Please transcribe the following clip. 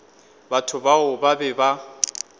batho bao ba be ba